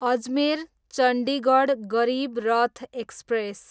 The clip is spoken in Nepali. अजमेर, चन्डिगढ गरिब रथ एक्सप्रेस